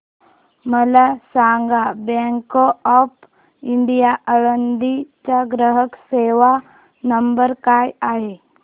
मला सांगा bank of India Alandi चा ग्राहक सेवा नंबर काय आहे